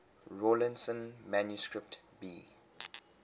rawlinson manuscript b